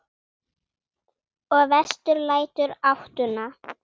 Og vestur lætur ÁTTUNA.